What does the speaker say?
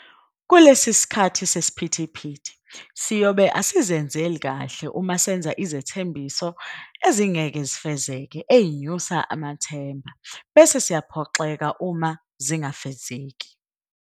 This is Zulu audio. Kulesi sikhathi sesiphithiphithi, siyobe asizenzeli kahle uma senza izithembiso ezingeke zifezeke ezinyusa amathemba, bese siyaphoxeka uma zingafezeki.